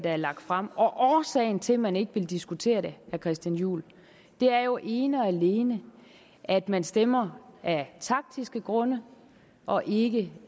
er lagt frem og årsagen til at man ikke vil diskutere det vil christian juhl er jo ene og alene at man stemmer af taktiske grunde og ikke